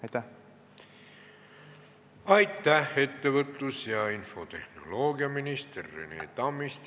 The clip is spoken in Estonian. Aitäh, ettevõtlus- ja infotehnoloogiaminister Rene Tammist!